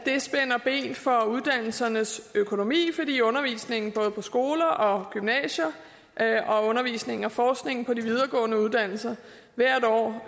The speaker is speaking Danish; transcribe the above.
det de for uddannelsernes økonomi fordi undervisningen både på skoler og gymnasier og undervisningen og forskningen på de videregående uddannelser hvert år